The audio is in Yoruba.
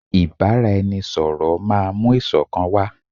Ìbáraẹnisọ̀rọ̀ máà mú ìṣọ̀kan wá.